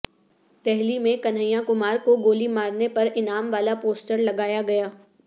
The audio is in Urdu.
دہلی میں کنہیا کمار کو گولی مارنے پر انعام والا پوسٹرلگایا گیا